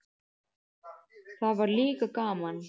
Það var líka gaman.